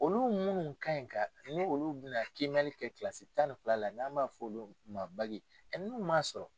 Olu munnu kan in ka ni olu bɛna kiimɛnni kɛ tan ni fila la n'an b'a fɔ olu ma n'u ma sɔrɔ.